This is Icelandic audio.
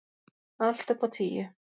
Allt upp á tíu.